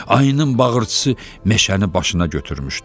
Ayının bağırtısı meşəni başına götürmüşdü.